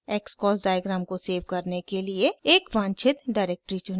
xcos diagram को save करने के लिए एक वांछित डिरेक्टरी चुनें